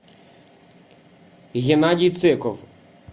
геннадий циков